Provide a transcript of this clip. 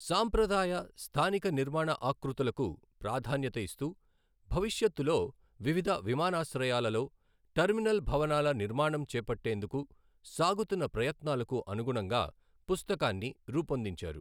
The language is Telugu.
సాంప్రదాయ, స్థానిక నిర్మాణ ఆకృతులకు ప్రాధాన్యత ఇస్తూ భవిష్యత్తులో వివిధ విమానాశ్రయాలలో టెర్మినల్ భవనాల నిర్మాణం చేపట్టేందుకు సాగుతున్న ప్రయత్నాలకు అనుగుణంగా పుస్తకాన్ని రూపొందించారు.